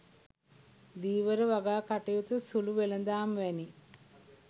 ධීවර වගා කටයුතු සුලු වෙළඳාම් වැනි